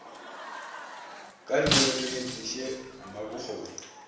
ka dikolong e nepiše mabokgone